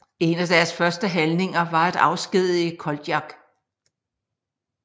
En af deres første handlinger var at afskedige Koltjak